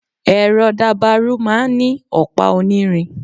ẹrọ dabaru máà ń ni opa onírín